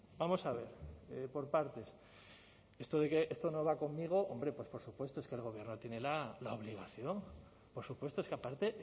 vamos a ver por partes esto de que esto no va conmigo hombre pues por supuesto es que el gobierno tiene la obligación por supuesto es que aparte